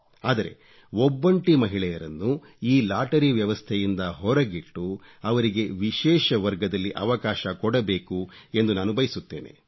ಆದರೆ ಒಬ್ಬೊಂಟಿ ಮಹಿಳೆಯರನ್ನು ಈ ಲಾಟರಿ ವ್ಯವಸ್ಥೆಯಿಂದ ಹೊರಗಿಟ್ಟು ಅವರಿಗೆ ವಿಶೇಷ ವರ್ಗದಲ್ಲಿ ಅವಕಾಶ ಕೊಡಬೇಕು ಎಂದು ನಾನು ಬಯಸುತ್ತೇನೆ